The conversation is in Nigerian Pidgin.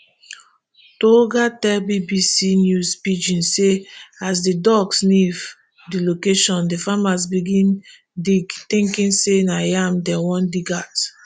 tooga tell bbc news pidgin say as di dog sniff di location di farmers begin dig thinking say na yam dem wan dig out